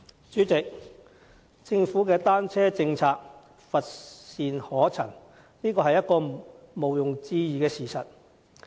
主席，政府的單車政策乏善可陳，這是毋庸置疑的事實。